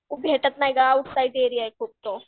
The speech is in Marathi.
कोण भेटत नाही गं आउटसाईड एरिया आहे खूप तो.